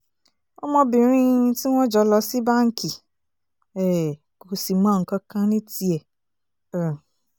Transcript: ọmọbìnrin tí wọ́n jọ lọ sí báǹkì um kò sì mọ nǹkan kan ní tiẹ̀ um